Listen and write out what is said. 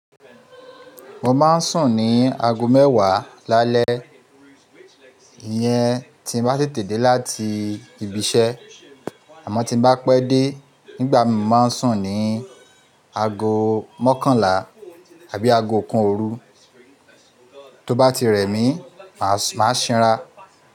Mo ma ń sùn ní aago mẹ́wàá lálẹ́ iyẹn tí mo bá tètè dé láti ibi iṣẹ́. Àmọ́ tí bá pẹ́ dé nígbà mi máa ń sùn ní aago mọ́kànlá àbí aago kàn óòrún, tó bá ti rẹ̀ mí máa ń ṣinra.